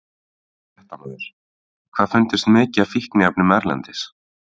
Fréttamaður: Hvað fundust mikið af fíkniefnum erlendis?